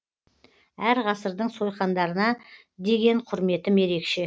әр ғасырдың сойқандарына деген құрметім ерекше